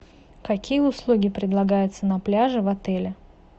какие услуги предлагаются на пляже в отеле